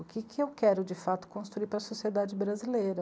O que eu quero, de fato, construir para a sociedade brasileira?